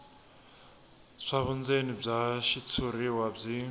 swa vundzeni bya xitshuriwa byi